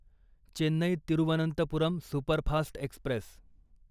Chennai Thiruvananthapuram superfast Express